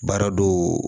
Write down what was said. Baara dɔw